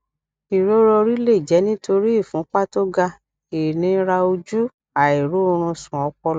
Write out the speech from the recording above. ìrora orí lè jẹ nítorí ìfúnpá tó ga ìnira ojú àìróorunsùn ọpọlọ